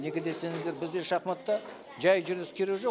неге десеңіздер бізде шахматта жай жүріс керегі жоқ